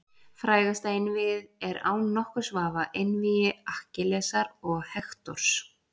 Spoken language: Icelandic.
Frægasta einvígið er án nokkurs vafa einvígi Akkillesar og Hektors.